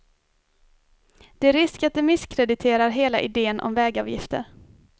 Det är risk att det misskrediterar hela idén om vägavgifter.